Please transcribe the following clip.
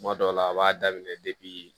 Tuma dɔw la a b'a daminɛ depi